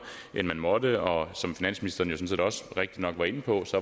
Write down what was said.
end man måtte og som finansministeren jo sådan set også rigtigt nok var inde på